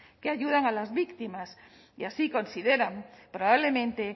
que ayudan a las víctimas y así consideran probablemente